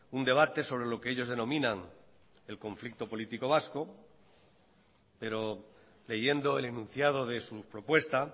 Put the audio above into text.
un debate sobre lo que ellos denominan el conflicto político vasco pero leyendo el enunciado de su propuesta